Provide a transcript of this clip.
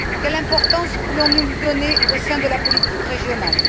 Quelle importance voulons nous lui donner au sein de la politique régionale?